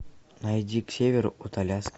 найди к северу от аляски